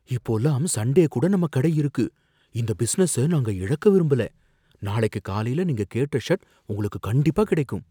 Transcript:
இப்போல்லாம் சண்டே கூட நம்ம கடை இருக்கு, இந்த பிசினஸ நாங்க இழக்க விரும்பல, நாளைக்கு காலைல நீங்க கேட்ட ஷர்ட் உங்களுக்கு கண்டிப்பா கிடைக்கும்.